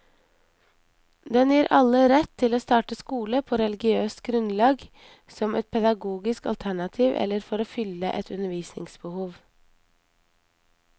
Den gir alle rett til å starte skole på religiøst grunnlag, som et pedagogisk alternativ eller for å fylle et undervisningsbehov.